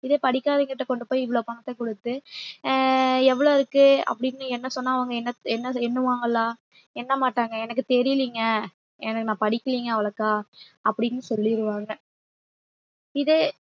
இதே படிக்காதவங்ககிட்ட கொண்டு போய் இவ்வளவு பணத்தைக் கொடுத்து அஹ் எவ்வளவு இருக்கு அப்படின்னு எண்ண சொன்னா அவங்க எண்ண~ எண்ண~ எண்ணுவாங்களா எண்ண மாட்டாங்க எனக்கு தெரியலைங்க எனக்கு நான் படிக்கலைங்க அவ்ளோக்கா அப்பிடின்னு சொல்லிடுவாங்க இதே